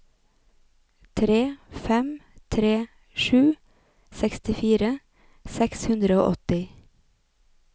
tre fem tre sju sekstifire seks hundre og åtti